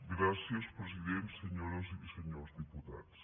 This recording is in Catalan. gràcies president senyores i senyors diputats